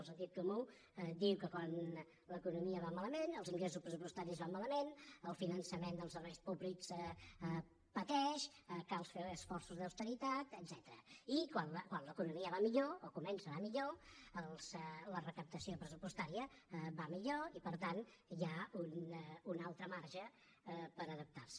el sentit comú diu que quan l’economia va malament els ingressos pressupostaris van malament el finançament dels serveis públics pateix cal fer esforços d’austeritat etcètera i quan l’economia va millor o comença a anar millor la recaptació pressupostària va millor i per tant hi ha un altre marge per adaptarse